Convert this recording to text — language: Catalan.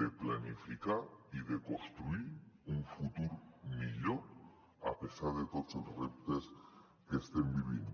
de planificar i de construir un futur millor a pesar de tots els reptes que estem vivint